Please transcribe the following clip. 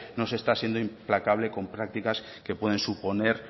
no se está siendo implacable con prácticas que pueden suponer